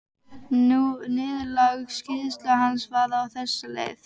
Niðurlag skýrslu hans var á þessa leið